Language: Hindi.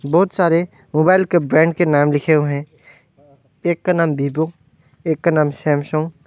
बहुत सारे मोबाइल के ब्रांड के नाम लिखे हुए हैं एक का नाम वीवो एक का नाम सैमसंग --